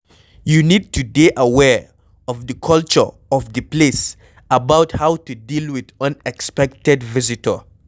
you need to dey aware of di culture of di place about how to deal with unexpected visitor